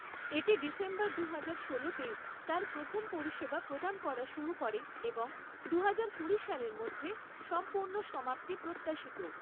এটি ডিসেম্বর দুহাজার ষোলোতে তার প্রথম পরিষেবা প্রদান করা শুরু করে এবং দুহাজার কুড়ি সালের মধ্যে সম্পূর্ণ সমাপ্তি প্রত্যাশিত৷